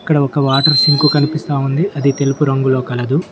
ఇక్కడ ఒక water sink కనిపిస్తా ఉంది అది తెలుపు రంగులో కలదు.